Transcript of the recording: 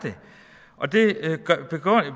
og det